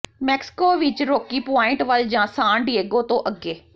Mexico ਵਿੱਚ Rocky Point ਵੱਲ ਜਾਂ ਸਾਨ ਡੀਏਗੋ ਤੋਂ ਅੱਗੇ